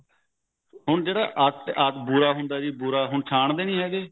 ਹੁਣ ਜਿਹੜਾ ਆਟਾ ਬੁਰਾ ਬੁਰਾ ਹੁੰਦਾ ਜੀ ਹੁਣ ਛਾਨਦੇ ਨਹੀਂ ਹੈਗੇ